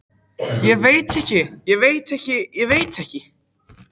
Ég veit ekki, ég veit ekki, ég veit ekki.